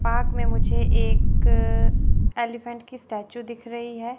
Park में मुझे एक अ एलीफेंट की स्टैचू दिख रही है।